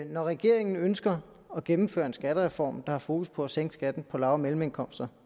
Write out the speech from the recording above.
når regeringen ønsker at gennemføre en skattereform der har fokus på at sænke skatten på lav og mellemindkomster